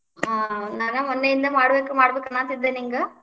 ಹಾ, ನಾನ ಮೊನ್ನೆಯಿಂದ್ ಮಾಡ್ಬೇಕ್ ಮಾಡ್ಬೇಕ್ ಅನ್ನಾತಿದ್ದೆ ನಿಂಗ